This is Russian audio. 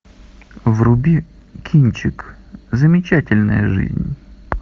вруби кинчик замечательная жизнь